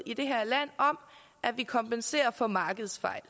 i det her land at vi kompenserer for markedsfejl